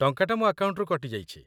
ଟଙ୍କାଟା ମୋ ଆକାଉଣ୍ଟରୁ କଟି ଯାଇଛି ।